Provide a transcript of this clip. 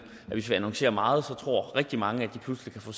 hvis vi annoncerer meget tror rigtig mange at de pludselig kan få